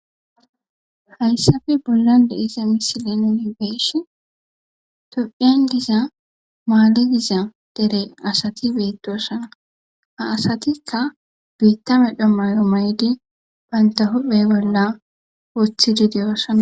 hayssafe bollan de iza misilenini geesh tophiyan diza maali giza dere asati beettosana ha asatikka biitta medho mayo maydi banta hophe bolla woothidi deyoosana